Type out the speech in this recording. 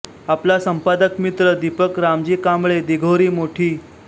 आपला संपादक मित्र दिपक रामजी कांबळे दिघोरी मोठी